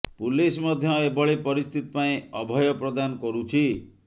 police ମଧ୍ୟ ଏଭଳି ପରିସ୍ଥିତି ପାଇଁ ଅଭୟ ପ୍ରଦାନ କରୁଛି